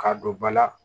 K'a don ba la